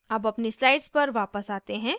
अब अपनी slide पर वापस आते हैं